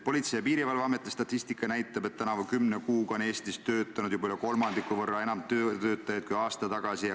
Politsei- ja Piirivalveameti statistika näitab, et tänavu kümne kuuga on Eestis töötanud üle kolmandiku võrra enam võõrtöötajaid kui aasta tagasi.